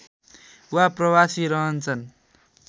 वा प्रवासी रहन्छन्